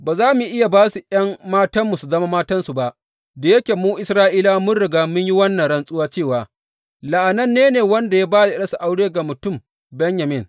Ba za mu iya ba su ’yan matanmu su zama matansu ba, da yake mu Isra’ilawa mun riga mun yi wannan rantsuwa cewa, La’ananne ne wanda ya ba da ’yarsa aure ga mutum Benyamin.’